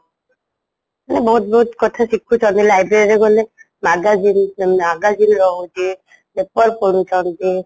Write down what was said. ବହୁତ ବହୁତ କଥା ଶିଖୁଛନ୍ତି library ରେ ଗଲେ magazine magazine ରହୁଛି, paper ପଢୁଛନ୍ତି